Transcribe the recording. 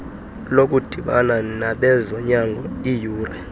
lokudibana nabezonyango iyure